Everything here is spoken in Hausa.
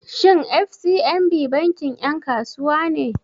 Shin FCMB bankin 'yan kasuwa ne?